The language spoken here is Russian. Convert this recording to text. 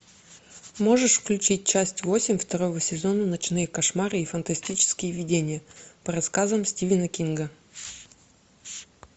можешь включить часть восемь второго сезона ночные кошмары и фантастические видения по рассказам стивена кинга